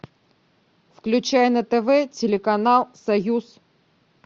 включай на тв телеканал союз